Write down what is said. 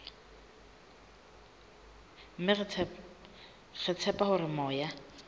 mme re tshepa hore moya